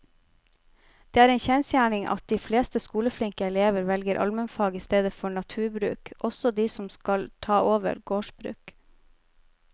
Det er en kjensgjerning at de fleste skoleflinke elevene velger allmennfag i stedet for naturbruk, også de som skal ta over gårdsbruk.